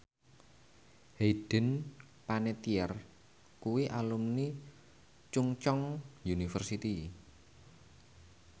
Hayden Panettiere kuwi alumni Chungceong University